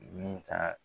Min ka